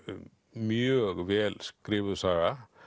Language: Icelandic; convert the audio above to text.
mjög vel skrifuð saga